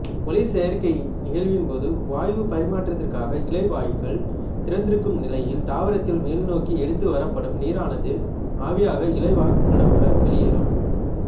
ஒளிச்சேர்க்கை நிகழ்வின்போது வாயுப் பரிமாற்றத்திற்காக இலைவாய்கள் திறந்திருக்கும் நிலையில் தாவரத்தில் மேல்நோக்கி எடுத்து வரப்படும் நீரானது ஆவியாக இலைவாய்களூடாக வெளியேறும்